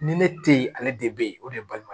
Ni ne te yen ale de be yen o de ye balima ye